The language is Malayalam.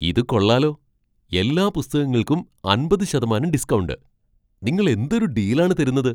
ഇത് കൊള്ളാലോ! എല്ലാ പുസ്തകങ്ങൾക്കും അമ്പത് ശതമാനം ഡിസ്ക്കൗണ്ട്. നിങ്ങൾ എന്തൊരു ഡീൽ ആണ് തരുന്നത്.